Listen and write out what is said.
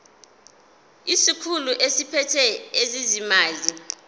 isikhulu esiphethe ezezimali